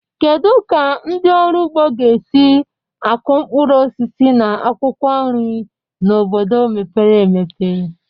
Kedu ka ndị ọrụ ugbo ga-esi akụ mkpụrụ osisi na akwụkwọ nri na obodo mepere emepe?